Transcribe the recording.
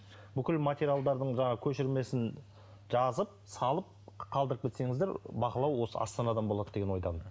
бүкіл материалдардың жаңағы көшірмесін жазып салып қалдырып кетсеңіздер бақылау осы астанадан болады деген ойдамын